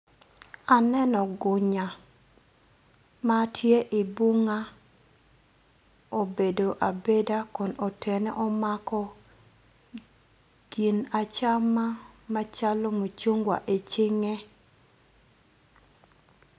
Aneno gunya ma tye i bunga obedo abeda kun otene omako gin acama macalo mucungwa i cinge.